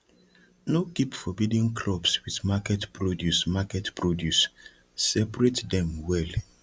no keep forbidden crops with market produce market produce separate dem well